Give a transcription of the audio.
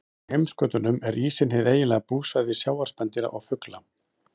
Á heimskautunum er ísinn hið eiginlega búsvæði sjávarspendýra og fugla.